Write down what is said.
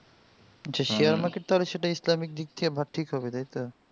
যে Share market তা হবে সেটা ইসলামিক দিক থেকে ঠিক হবে তাই তো